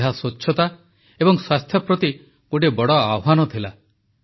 ଏହା ସ୍ୱଚ୍ଛତା ଏବଂ ସ୍ୱାସ୍ଥ୍ୟ ପ୍ରତି ଗୋଟିଏ ବଡ଼ ଆହ୍ୱାନ ଥିଲା